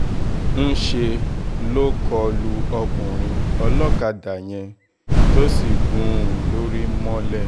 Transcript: ńṣe ló kọ lu ọkùnrin olókàdá yẹn tó sì gún un lórí mọ́lẹ̀